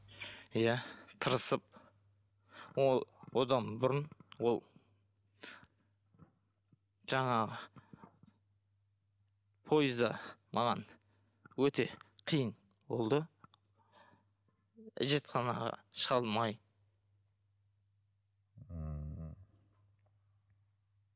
иә тырысып ол одан бұрын ол жаңағы пойызда маған өте қиын болды әжетханаға шыға алмай ммм